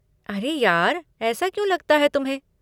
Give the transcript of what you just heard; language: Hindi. अरे यार, ऐसा क्यों लगता है तुम्हें?